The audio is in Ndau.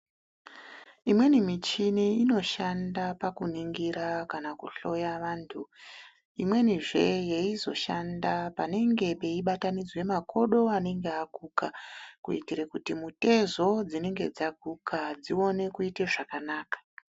Imweni michini inoshanda pakuningira kana pakuhloya vantu .Imweni zve yeizoshanda panenge peizobatanidzwa makodo anenge aguka kuitire kuti mitezo inenge yaguka dziwane kuite zvakanaka.